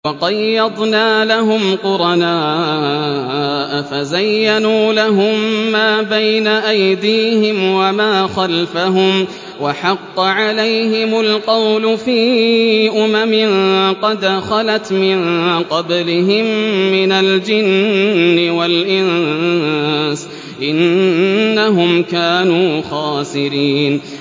۞ وَقَيَّضْنَا لَهُمْ قُرَنَاءَ فَزَيَّنُوا لَهُم مَّا بَيْنَ أَيْدِيهِمْ وَمَا خَلْفَهُمْ وَحَقَّ عَلَيْهِمُ الْقَوْلُ فِي أُمَمٍ قَدْ خَلَتْ مِن قَبْلِهِم مِّنَ الْجِنِّ وَالْإِنسِ ۖ إِنَّهُمْ كَانُوا خَاسِرِينَ